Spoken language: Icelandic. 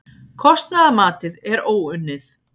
Kostnaðarmatið er óunnið